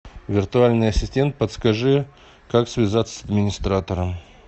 виртуальный ассистент подскажи как связаться с администратором